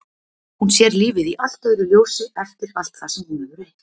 Hún sér lífið í allt öðru ljósi eftir allt það sem hún hefur reynt.